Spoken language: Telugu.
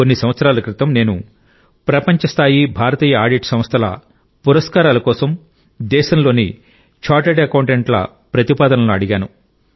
కొన్ని సంవత్సరాల క్రితం నేను ప్రపంచ స్థాయి భారతీయ ఆడిట్ సంస్థల నుండి బహుమతుల కోసం దేశంలోని చార్టర్డ్ అకౌంటెంట్లను ప్రతిపాదనలు అడిగాను